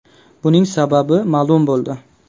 Buning sababi ma’lum bo‘ldi.